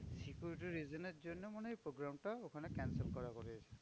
Security reason এর জন্য মনে হয় program টা ওখানে cancel করা হয়েছে।